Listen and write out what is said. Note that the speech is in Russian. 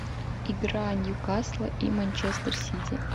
игра ньюкасла и манчестер сити